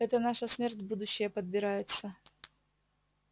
это наша смерть будущая подбирается